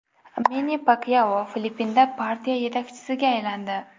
Menni Pakyao Filippinda partiya yetakchisiga aylandi.